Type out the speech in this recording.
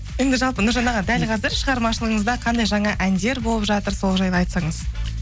енді жалпы нұржан аға дәл қазір шығармашылығыңызда қандай жаңа әндер болып жатыр сол жайлы айтсаңыз